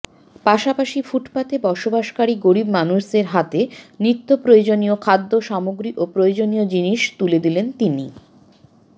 পাশাপাশি ফুটপাতে বসবাসকারী গরীব মানুষের হাতে নিত্যপ্রয়োজনীয় খাদ্য সামগ্রী ও প্রয়োজনীয় জিনিস তুলে দিলেন তিনি